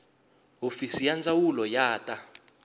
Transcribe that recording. hofisi ya ndzawulo ya ta